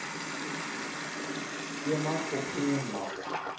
skema opgeneem mag